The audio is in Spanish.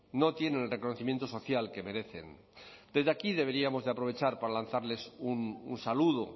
no tienen el reconocimiento social que merecen desde aquí deberíamos aprovechar para lanzarles un saludo